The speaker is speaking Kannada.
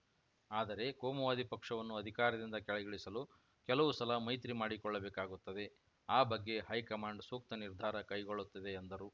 ಆದರೆ ಕೋಮುವಾದಿ ಪಕ್ಷವನ್ನು ಅಧಿಕಾರದಿಂದ ಕೆಳಗಿಳಿಸಲು ಕೆಲವು ಸಲ ಮೈತ್ರಿ ಮಾಡಿಕೊಳ್ಳಬೇಕಾಗುತ್ತದೆ ಆ ಬಗ್ಗೆ ಹೈಕಮಾಂಡ್‌ ಸೂಕ್ತ ನಿರ್ಧಾರ ಕೈಗೊಳ್ಳುತ್ತದೆ ಎಂದರು